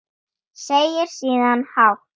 Segir síðan hátt